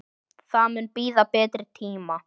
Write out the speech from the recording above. Það mun bíða betri tíma.